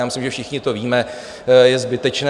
Já myslím, že všichni to víme, je zbytečné.